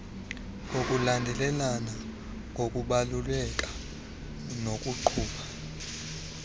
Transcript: ngokulandelelana ngokubaluleka nokuqhuba